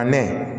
A mɛɛn